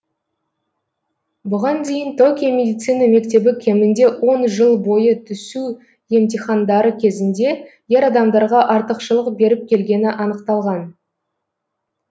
бұған дейін токио медицина мектебі кемінде он жыл бойы түсу емтихандары кезінде ер адамдарға артықшылық беріп келгені анықталған